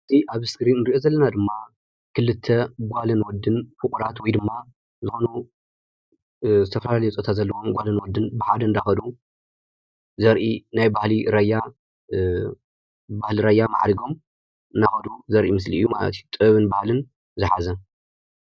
እዚ ኣብ እስክሪን እንሪኦ ዘለና ድማ ክልተ ጓልን ወድን እኩላት ወይ ድማ ዝኾኑ ዝተፈላለዩ ፆታ ዘለዎም ጓልን ወድን ብሓደ እንዳኸዱ ዘርኢ ናይ ባህሊ ራያ ብባህሊ ራያ ማዕሪጎም እናኸዱ ዘርኢ ምስሊ እዩ ማለት እዩ። ጥበብን ባህልን ዝሓዘ::